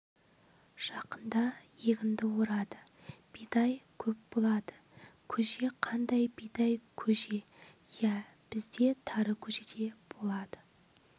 жақында егінді орады бидай көп болады көже қандай бидай көже иә бізде тары көже де болады